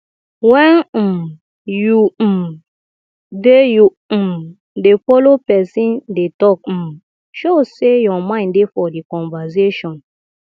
when um you um dey you um dey follow person dey talk um show sey your mind dey for di conversation